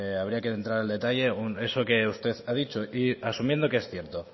habría que entrar en detalle eso que usted ha dicho y asumiendo que es cierto